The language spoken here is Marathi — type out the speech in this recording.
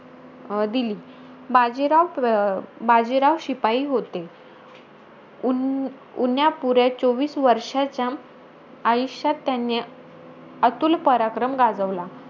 अं दिली. बाजीराव प अं बाजीराव शिपाई होते. ऊन उण्यापुऱ्या चोवीस वर्षाच्या आयुष्यात त्यांनी , अतुल पराक्रम गाजवला.